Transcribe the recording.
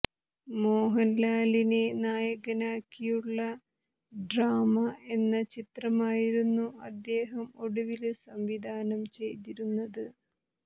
മോഹന്ലാലിനെ നായകനാക്കിയുളള ഡ്രാമ എന്ന ചിത്രമായിരുന്നു അദ്ദേഹം ഒടുവില് സംവിധാനം ചെയ്തിരുന്നത്